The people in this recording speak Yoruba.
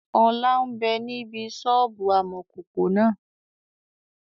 Ọlá ń bẹ níbi sọ́ọ́bù amọ̀kòkò náà